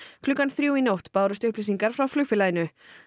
klukkan þrjú í nótt bárust upplýsingar frá flugfélaginu